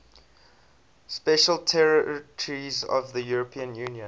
special territories of the european union